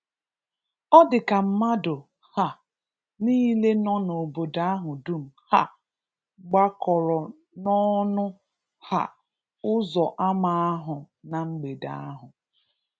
Ọ dị ka mmadụ um niile nọ na obodo ahụ dum um gbakọrọ n’ọnụ um ụzọ ama ahụ na mgbede ahụ.